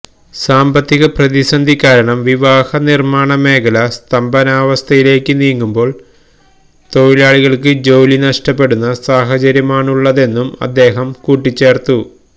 സാമ്പത്തിക പ്രതിസന്ധി കാരണം വാഹനനിർമാണമേഖല സ്തംഭനാവസ്ഥയിലേക്ക് നീങ്ങുമ്പോൾ തൊഴിലാളികൾക്ക് ജോലി നഷ്ടപ്പെടുന്ന സാഹചര്യമാണുള്ളതെന്നും അദ്ദേഹം കൂട്ടിച്ചേർത്തു